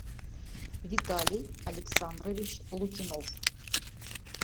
виталий александрович лукинов